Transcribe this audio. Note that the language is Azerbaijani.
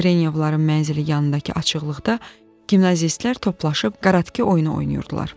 Yevrenyovların mənzili yanındakı açıqlıqda gimnazistlər toplaşıb Karatke oyunu oynayırdılar.